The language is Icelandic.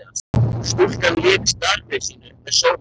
Stúlkan lauk starfi sínu með sóma.